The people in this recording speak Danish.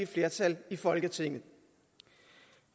flertal i folketinget